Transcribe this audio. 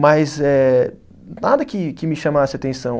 Mas eh nada que que me chamasse atenção.